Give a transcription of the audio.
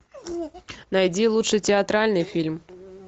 найди лучший театральный фильм